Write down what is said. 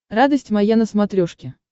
радость моя на смотрешке